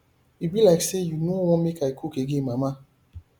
e be like say you no want make i cook again mama